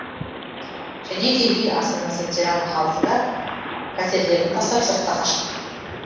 және де ел астанасы тирана халқы да пәтерлерін тастап сыртқа қашқан